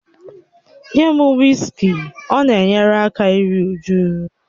Nye m wịskị, ọ na-enyere aka iru újú